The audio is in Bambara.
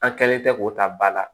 An kɛlen tɛ k'o ta ba la